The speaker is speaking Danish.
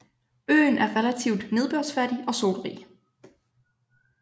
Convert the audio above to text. Øen er relativt nedbørsfattig og solrig